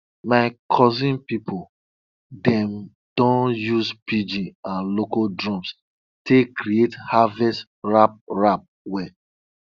my cousin people dem don use pidgin and local drums take create harvest rap rap wey